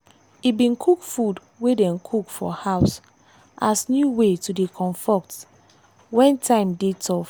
e bin cook food wey dem cook for house as new way to dey comfort wen time dey tough.